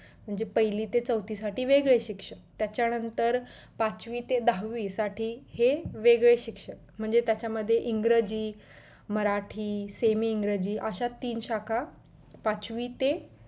म्हणजे पहिली ते चवथी साठी ते वेगळे शिक्षक त्याच्या नंतर पाचवी ते दहावी साठी हे वेगळे शिक्षक म्हणजे त्याच्या मध्ये इंग्रजि मराठी semi इंग्रजी अशा तीन शाखा पाचवी ते